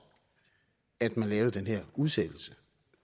at man lavede den her udsættelse